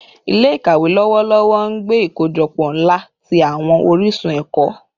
Ile-ikawe lọwọlọwọ n gbe ikojọpọ nla ti awọn orisun ẹkọ